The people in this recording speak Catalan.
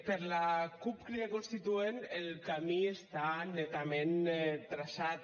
per la cup crida constituent el camí està netament traçat